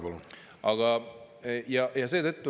Kolm minutit lisaaega, palun!